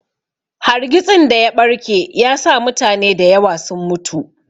Hargitsin daya ɓarke yasa mutane da yawa sun mutu.